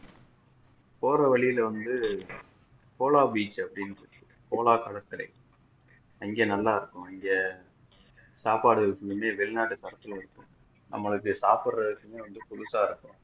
போற வழியில வந்து solar beach ன்டு அப்படின்னு இருக்கு solar கடற்கரை அங்க நல்லா இருக்கும் இங்க சாப்பாடு எப்பயுமே வெளிநாட்டு தரத்துல இருக்கும் நம்மளுக்கு சாப்பிடுறதுக்குன்னு வந்து புதுசா இருக்கும்